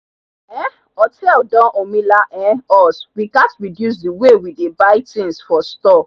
um hotel don omila um us we gat reduce the way we dey bey things for store